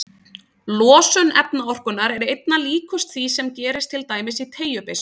Losun efnaorkunnar er einna líkust því sem gerist til dæmis í teygjubyssu.